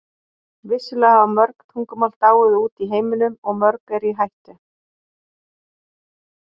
Vissulega hafa mörg tungumál dáið út í heiminum og mörg eru í hættu.